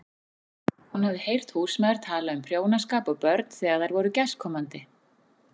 Hún hafði heyrt húsmæður tala um prjónaskap og börn þegar þær voru gestkomandi.